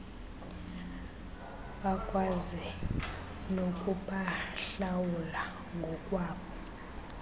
bakwazi nokubahlawula ngokwabo